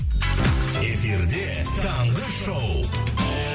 эфирде таңғы шоу